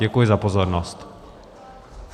Děkuji za pozornost.